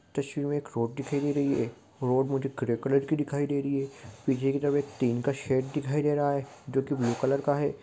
तस्वीर में एक रोड दिखाई दे रही है रोड मुझे ग्रे कलर की दिखाई दे रही है पीछे की तरफ एक टिन का सेट दिखाई दे रहा है जो की ब्लू कलर का है।